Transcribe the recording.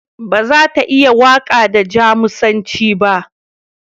Ba za ta iya waƙa da Jamusanci ba.